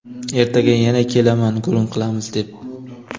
ertaga yana kelaman gurung qilamiz deb.